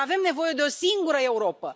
Dar avem nevoie de o singură Europă.